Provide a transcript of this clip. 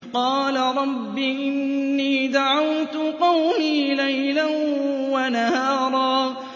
قَالَ رَبِّ إِنِّي دَعَوْتُ قَوْمِي لَيْلًا وَنَهَارًا